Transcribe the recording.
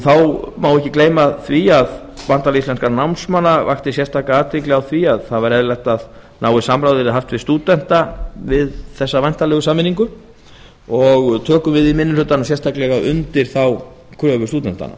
þá má ekki gleyma því að bandalag íslenskra námsmanna vakti sérstaka athygli á því að eðlilegt væri að náið samráð yrði haft við stúdenta við hina væntanlegu sameiningu við í minni hlutanum tökum sérstaklega undir þá kröfu stúdenta